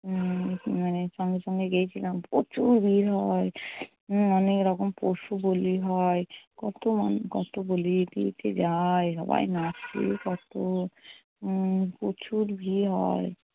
উম মানে সঙ্গে সঙ্গে গিয়েছিলাম, প্রচুর ভিড় মনে হয়। অনেক রকম পশু বলি হয়। কত মানুষ কত বলি দিতে যায়। সবাই নাচে কত। উম প্রচুর ভিড় হয়।